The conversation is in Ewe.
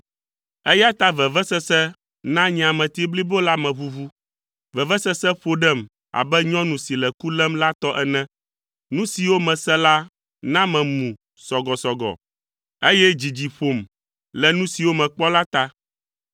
Eya ta vevesese na nye ameti blibo la meʋuʋu. Vevesese ƒo ɖem abe nyɔnu si le ku lém la tɔ ene. Nu siwo mese la na memu sɔgɔsɔgɔ, eye dzidzi ƒom le nu siwo mekpɔ la ta.